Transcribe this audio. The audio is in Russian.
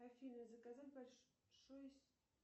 афина заказать большую